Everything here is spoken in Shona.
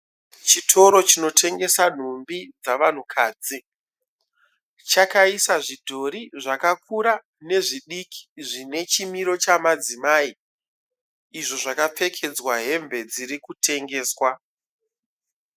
Chitoro chinotengesa nhumbi dzavanhukadzi. Chakaisa zvidhori zvakakura nezvidiki zvine chimiro chamadzimai, izvo zvakapfekedzwa hembe dzirikutengeswa.